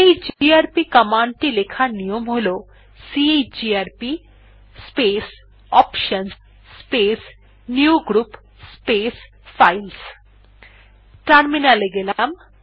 chgrp command টি লেখার নিয়ম হল chgrp space options space newgroup space files terminal এ গেলাম